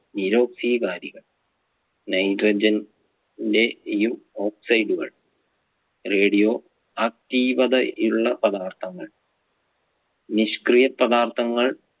നിരോക്സീകാരികൾ nitrogen ലെ യു oxide കൾ radio ആക്ടീവതയുള്ള പദാർത്ഥങ്ങൾ നിഷ്ക്രിയപദാർത്ഥങ്ങൾ